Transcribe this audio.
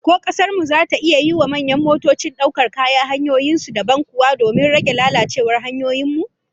Ko kasar mu zata iya yiwa manyan motocin daukar kaya hanyoyin su dabam kuwa, domin rage lalacewar hanyoyin mu?